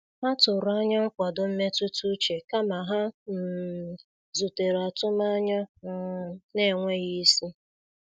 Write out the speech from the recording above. Ha tụrụ anya nkwado mmetụta uche kama ha um zutere atụmanya um na-enweghị isi.